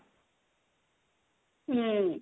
ହୁଁ